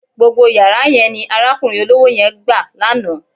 Gbogbo yàrá yẹn ni arákùnrin olówó yẹn gbà lánàá.